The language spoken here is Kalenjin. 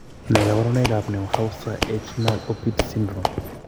Ne kaabarunetap Neuhauser Eichner Opitz syndrome?